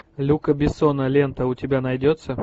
люка бессона лента у тебя найдется